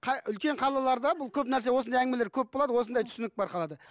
үлкен қалаларда бұл көп нәрсе осындай әңгімелер көп болады осындай түсінік бар қалада